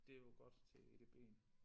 Det jo godt til edb'en